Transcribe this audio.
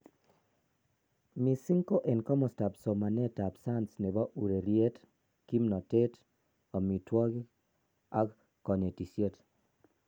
Mising ko en komostab somanet ab science nebo ureriet, kimnotet, amitwogik ak konetisiet."